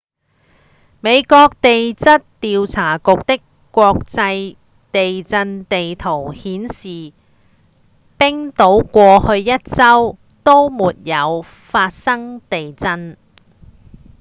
美國地質調查局的國際地震地圖顯示冰島過去一週都沒有發生地震